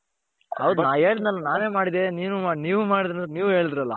ಹೌದು ನಾನು ಹೇಳದ್ನಲ್ಲ ನಾವೆ ಮಾಡಿದ್ದೀವಿ ನೀವು ಮಾಡದ್ರು ನೀವು ಹೇಳುದ್ರಲ್ಲ .